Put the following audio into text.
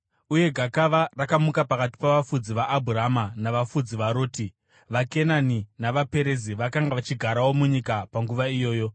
Uye gakava rakamuka pakati pavafudzi vaAbhurama navafudzi vaRoti. VaKenani navaPerizi vakanga vachigarawo munyika panguva iyoyo.